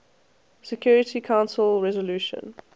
security council resolution